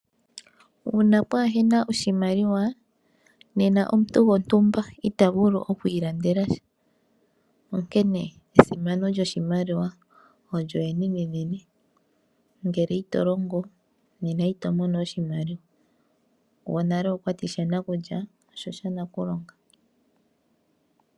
Uuna kaapu na oshimaliwa nena omuntu gontumba ita vulu okwiilandelasha onkene esimano lyoshimaliwa olyo enenenene ngele ito longo nena ito mono oshimaliwa. Gwonale okwa tile, "shanakulya osha nakulonga".